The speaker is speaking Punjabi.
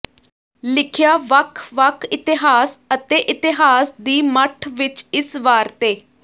ਲਿਖਿਆ ਵੱਖ ਵੱਖ ਇਤਿਹਾਸ ਅਤੇ ਇਤਹਾਸ ਦੀ ਮੱਠ ਵਿੱਚ ਇਸ ਵਾਰ ਤੇ